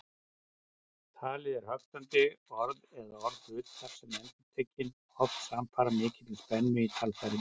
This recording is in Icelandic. Talið er höktandi, orð eða orðhlutar eru endurtekin, oft samfara mikilli spennu í talfærum.